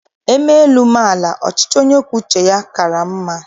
E mee elu, mee ala, ọchịchị onye kwuo uche ya kaara m mma.